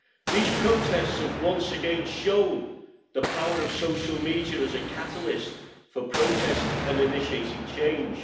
These protests have once again shown the power of social media as a catalyst for protest and initiating change.